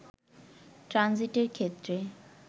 ট্রানজিটের ক্ষেত্রে